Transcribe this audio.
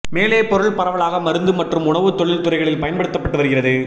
மேலே பொருள் பரவலாக மருந்து மற்றும் உணவு தொழில்துறைகளில் பயன்படுத்தப்பட்டு வருகிறது